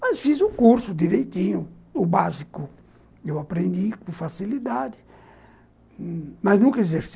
Mas fiz o curso direitinho, o básico, eu aprendi com facilidade, mas nunca exerci.